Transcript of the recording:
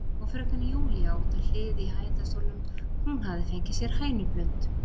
Og fröken Júlía út á hlið í hægindastólnum, hún hafði fengið sér hænublund.